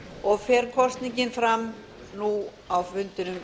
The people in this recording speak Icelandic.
og fer kosningin fram nú á fundinum